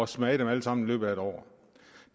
smage dem alle sammen i løbet af et år